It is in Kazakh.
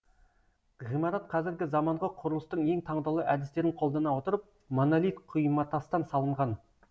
ғимарат қазіргі заманғы құрылыстың ең таңдаулы әдістерін қолдана отырып монолит құйматастан салынған